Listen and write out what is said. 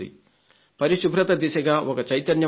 పరిశుభ్రత దిశగా ఒక చైతన్యం వచ్చింది